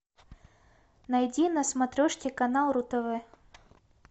найди на смотрешке канал ру тв